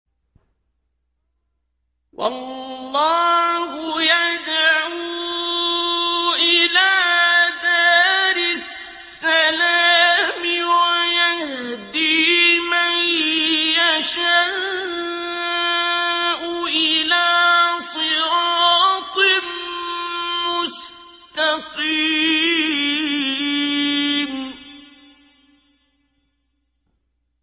وَاللَّهُ يَدْعُو إِلَىٰ دَارِ السَّلَامِ وَيَهْدِي مَن يَشَاءُ إِلَىٰ صِرَاطٍ مُّسْتَقِيمٍ